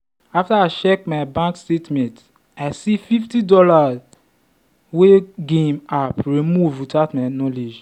after i check my bank statement i see fifty dollarswey game app remove without my knowledge.